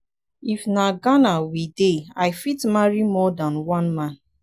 if na for ghana we dey i fit marry more than than one man.